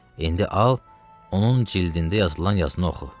İndi al, onun cildində yazılan yazını oxu.